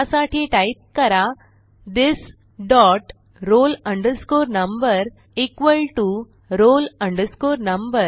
त्यासाठी टाईप करा this dot roll number equal to roll number